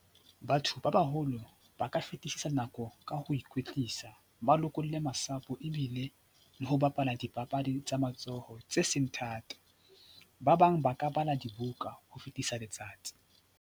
Batho ba baholo ba ka fetisisa nako ka ho ikwetlisa, ba lokolle masapo ebile le ho bapala dipapadi tsa matsoho tse seng thata. Ba bang ba ka bala dibuka ho fetisa letsatsi.